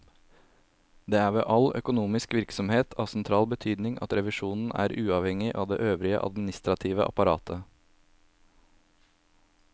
Det er ved all økonomisk virksomhet av sentral betydning at revisjonen er uavhengig av det øvrige administrative apparat.